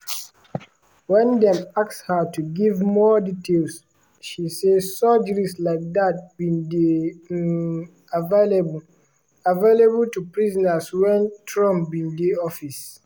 wen dem ask her to give more details she say surgeries like dat bin dey um available available to prisoners wen trump bin dey office.